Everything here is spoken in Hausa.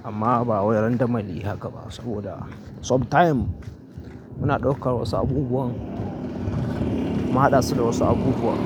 Amma ba a wurin damali haka ba, saboda sometime muna ɗaukar wasu abubuwan, mun haɗa su da wasu abubuwan.